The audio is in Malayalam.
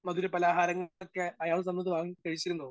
സ്പീക്കർ 1 മധുരപലഹാരങ്ങളൊക്കെ അയാള് തന്നത് വാങ്ങി കഴിച്ചിരുന്നോ?